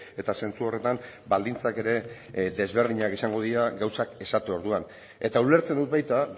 eta zentzu horretan baldintzak ere desberdinak izango dira gauzak esaten orduan eta ulertzen dut baita